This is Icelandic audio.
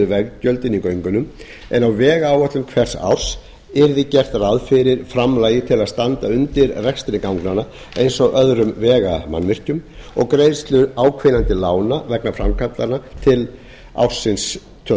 veggjöldin í göngunum en á vegáætlun hvers árs yrði gert ráð fyrir framlagi til að standa undir rekstri ganganna eins og öðrum vegamannvirkjum og greiðslu áhvílandi lána vegna framkvæmdanna til ársins tvö